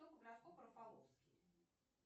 кто по гороскопу рафаловский